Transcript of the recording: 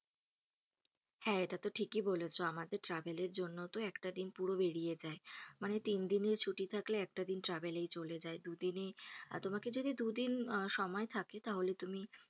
হ্যা এটাতো ঠিকই বলেছো। আমাদের travel এর জন্যতো একটা দিন পুরো বেরিয়ে যায় মানে তিন দিনের ছুটি থাকলে একটা দিন travel এই চলে যায় দুদিনে আহ তোমাকে যদি দুদিন সময় থাকে তাহলে তুমি,